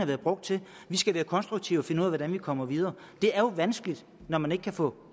været brugt til vi skal være konstruktive og finde ud af hvordan vi kommer videre det er jo vanskeligt når man ikke kan få